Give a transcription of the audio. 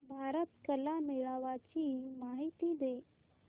भारत कला मेळावा ची माहिती दे